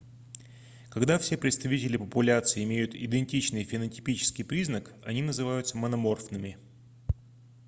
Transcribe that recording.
когда все представители популяции имеют идентичный фенотипический признак они называются мономорфными